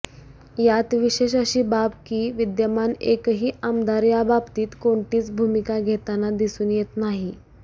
यात विशेष अशी बाब की विद्यमान एकही आमदार याबाबतीत कोणतीच भूमिका घेताना दिसून येत नाही